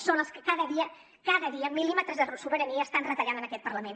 són els que cada dia cada dia mil·límetres de sobirania estan retallant en aquest parlament